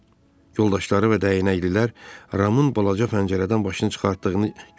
Yoldaşları və dəyənəklilər Ramın balaca pəncərədən başını çıxartdığını gördülər.